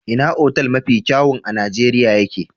Ina otal mafi kyawun a Nijeriya ye ke?